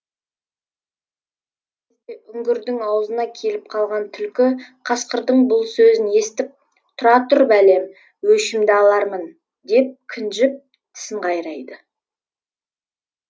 үңгірдің аузына келіп қалған түлкі қасқырдың бұл сөзін естіп тұра тұр бәлем өшімді алармын деп кіжініп тісін қайрайды